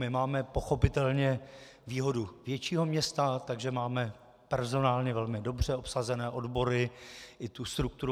My máme pochopitelně výhodu většího města, takže máme personálně velmi dobře obsazené odbory i tu strukturu.